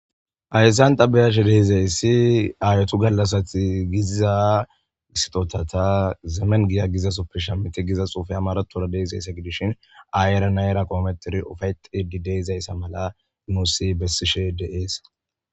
Ayssan xabeyash deeizayssi aayotu gallassati giziza gisitotata zeemen giya gizasoppe shemiti gizas ufaya maratora deizayssa gidishin aayere na era koometiri ufay xedi deizayssa mala nuussi bessishe de'eesa.